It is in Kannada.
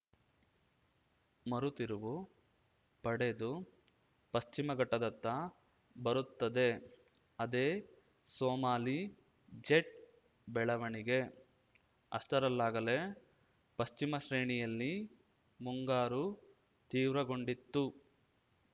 ಮರುತಿರುವು ಪಡೆದು ಪಶ್ಚಿಮಘಟ್ಟದತ್ತ ಬರುತ್ತದೆ ಅದೇ ಸೋಮಾಲಿ ಜೆಟ್‌ ಬೆಳವಣಿಗೆ ಅಷ್ಟರಲ್ಲಾಗಲೇ ಪಶ್ಚಿಮಶ್ರೇಣಿಯಲ್ಲಿ ಮುಂಗಾರು ತೀವ್ರಗೊಂಡಿತ್ತು